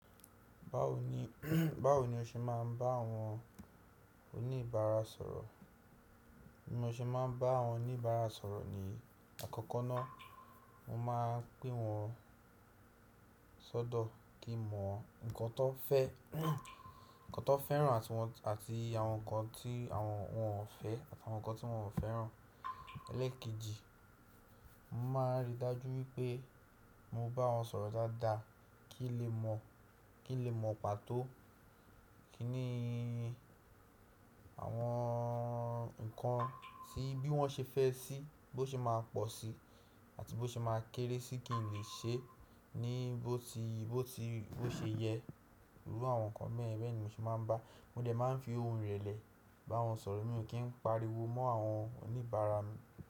Báwo ni, báwo ni o ṣe máa ń bá àwọn oníbàárà sọ̀rọ̀? Bí mo ṣe máa ń bá àwọn oníbàárà sọ̀rọ̀ ní àkọ́kọ́ ná, mo máa ń pè wọ́n sọ́dọ̀ kí n mọ nǹkan tan fẹ́, nǹkan tan fẹ́ràn àti àwọn nǹkan tí àwọn wòn fẹ́ àti àwọn nǹkan tí wọ́n ò fẹ́ràn. Elékeji, mo máa ríi dájú wípé mo bá wọn sọ̀rọ̀ dáadáa kí n lè mọ̀, kí n lè mọ pàtó kíni àwọn nǹkan tí bí wọ́n ṣe fẹ́ síí, bó ṣe máa pọ̀ sí i àti bó ṣe máa kéré sí i kí n lè ṣe ní bó ti, bó ti, bó ṣe yẹ. Iru àwọn nǹkan beyen bẹ́ẹ̀ ni mo ṣe máa ń bá, mo dẹ̀ máa ń fi ohùn ìrẹ̀lẹ̀ bá wọn sọ̀rọ̀, mi ò kí ń pariwo mọ́ àwọn oníbàárà mi.